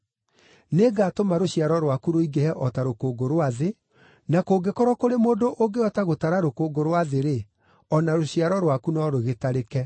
Nĩngaatũma rũciaro rwaku rũingĩhe o ta rũkũngũ rwa thĩ, na kũngĩkorwo kũrĩ mũndũ ũngĩhota gũtara rũkũngũ rwa thĩ-rĩ, o na rũciaro rwaku no rũgĩtarĩke.